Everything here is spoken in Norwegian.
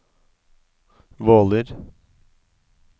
Våler